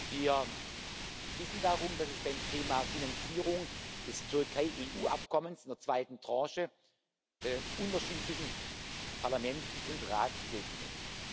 wird. Wir wissen darum, dass es beim Thema Finanzierung des Türkei EU Abkommens in der zweiten Tranche Unterschiede zwischen Parlament und Rat geben